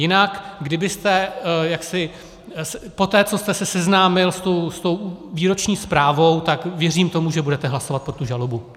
Jinak kdybyste jaksi poté, co jste se seznámil s tou výroční zprávou, tak věřím tomu, že budete hlasovat pro tu žalobu.